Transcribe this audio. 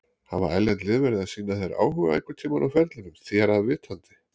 Hafa erlend lið verið að sýna þér áhuga einhverntímann á ferlinum þér að vitandi?